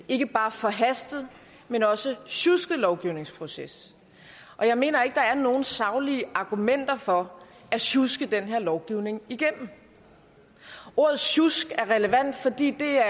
ikke bare forhastet men også sjusket lovgivningsproces jeg mener ikke der er nogen saglige argumenter for at sjuske den her lovgivning igennem ordet sjusk er relevant fordi det er